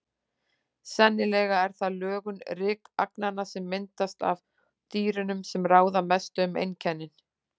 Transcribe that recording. Sennilega er það lögun rykagnanna, sem myndast af dýrunum, sem ráða mestu um einkennin.